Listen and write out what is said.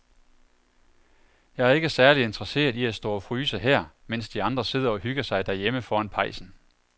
Jeg er ikke særlig interesseret i at stå og fryse her, mens de andre sidder og hygger sig derhjemme foran pejsen.